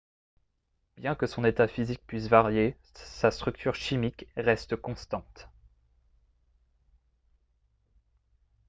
bien que son état physique puisse varier sa structure chimique reste constante